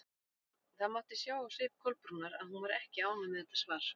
Það mátti sjá á svip Kolbrúnar að hún var ekki ánægð með þetta svar.